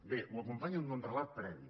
bé ho acompanyen d’un relat previ